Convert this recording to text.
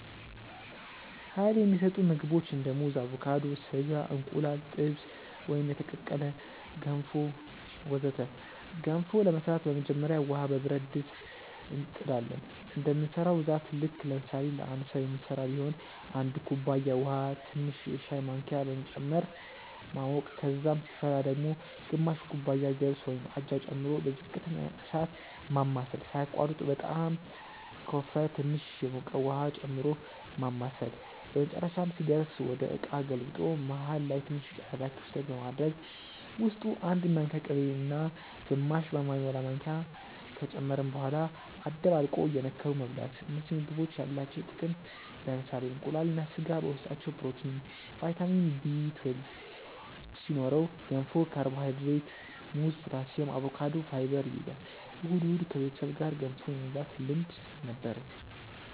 Uይል የሚሰጡ ምግቦች እንደ ሙዝ አቮካዶ፣ ስጋ፣ እንቁላል ጥብስ ወይም የተቀቀለ፣ ገንፎ ወዘተ ገንፎ ለመስራት በመጀመሪያ ውሃ በብረት ድስት እንጥ ዳለን እንደምንሰራው ብዛት ልክ ለምሳሌ ለአንድ ሰዉ ምንስራ ቢሆን 1 ኩባያ ውሃ ትንሽ የሻይ ማንኪያ በመጨመር ማሞቅ ከዛም ሲፈላ ወደ ግማሽ ኩባያ ገብስ (አጃ) ጨምሮ በዝቅተኛ እሳት ማማሰል ሳያቋርጡ በጣም ከወፈረ ትንሽ የሞቀ ውሃ ጨምሮ ማማሳል በመጨረሻም ሲደርስ ወደ እቃ ገልብጦ መሃል ላይ ትንሽ ቀዳዳ ክፍተት በማድረግ ውስጡ 1 ማንኪያ ቅቤ እና ግማሽ በማይሞላ ማንኪያ ከጨመርን በኋላ አደባልቆ እየነከሩ መብላት እነዚህ ምግቦች ያላቸው ጥቅም ለምሳሌ እንቁላል እና ስጋ በውስጣቸው ፕሮቲን፣ ቫይታሚን Bl2 ሲኖረው ገንፎ ካርቦሃይድሬት፣ ሙዝ ፖታሲየም፣ አቮካዶ ፋይበር ይይዛል። እሁድ እሁድ ከቤተሰብ ጋር ገንፎ የመብላት ልምድ ነበርኝ